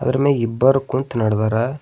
ಅದ್ರ ಮ್ಯಾಗ್ ಇಬ್ಬರು ಕುಂತ್ ನಡ್ದರ.